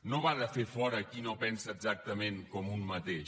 no va de fer fora a qui no pensa exactament com un mateix